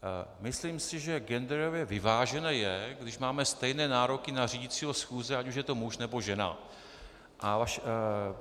Myslím si, že genderově vyvážené je, když máme stejné nároky na řídícího schůze, ať už je to muž, nebo žena.